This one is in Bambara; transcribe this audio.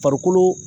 Farikolo